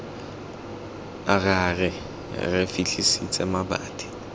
ra re re fitlhetse mabati